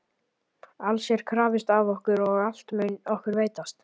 Alls er krafist af okkur og allt mun okkur veitast.